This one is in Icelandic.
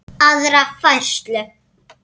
aðra færslu.